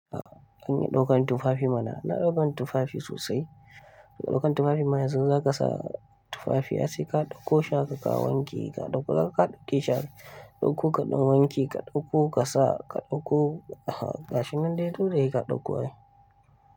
Kun iya ɗaukan tufafi mana, ina ɗaukan tufafi sosai. Ɗaukan tufafin ma yanzu in za ka sa tufafi ai sai ka ɗauko shi haka ka wanke ka ɗauka ka ga ka ɗauki shi haka ɗauko kaɗan wanke ka ɗauko ka sa ka ɗauko gashi nan dai tunda sai ka ɗaukonai.